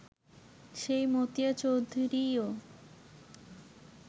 সেই মতিয়া চৌধুরীও